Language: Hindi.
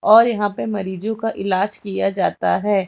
और यहां पे मरीजों का इलाज किया जाता है।